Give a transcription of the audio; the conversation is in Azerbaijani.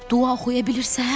Dua oxuya bilirsən?